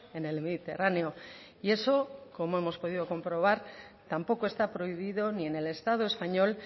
en el mediterráneo y eso como hemos podido comprobar tampoco está prohibido ni en el estado español